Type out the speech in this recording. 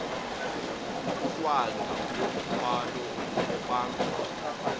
ukwanda komthwalo obangwa